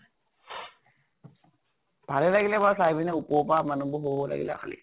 ভালে লাগিলে বাৰু চাই পিনে উপৰৰ পৰা মানুহ বোৰ লাগিলে খালি।